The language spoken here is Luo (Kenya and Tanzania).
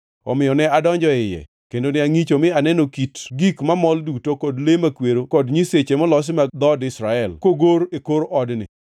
Omiyo ne adonjo e iye, kendo ne angʼicho, mi aneno kit gik mamol duto kod le makwero kod nyiseche molosi mag dhood Israel, kogor e kor odni.